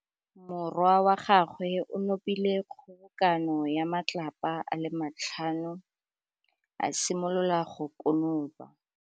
Morwa wa gagwe o nopile kgobokanô ya matlapa a le tlhano, a simolola go konopa.